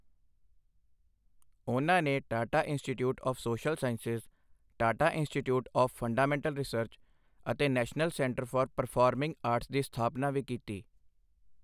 ਉਨ੍ਹਾਂ ਨੇ Tata Institute of Social Sciences, Tata Institute of Fundamental Research ਅਤੇ National Centre for Performing Arts ਦੀ ਸਥਾਪਨਾ ਵੀ ਕੀਤੀ।